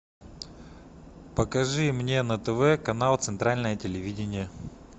покажи мне на тв канал центральное телевидение